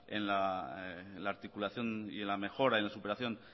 en la articulación y en la mejora en la superación